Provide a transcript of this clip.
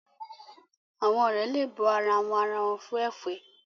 Àwọn òré le bù àrà wón àrà wón fún efè